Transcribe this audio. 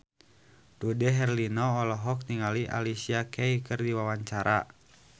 Dude Herlino olohok ningali Alicia Keys keur diwawancara